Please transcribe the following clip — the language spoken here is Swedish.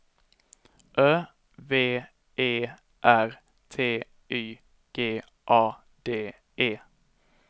Ö V E R T Y G A D E